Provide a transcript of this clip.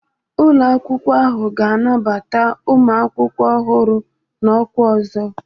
Ụlọ akwụkwọ ahụ ga-anabata ụmụ akwụkwọ ọhụrụ n'ọkwa ọzọ